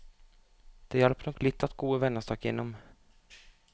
Det hjalp nok litt at gode venner stakk innom.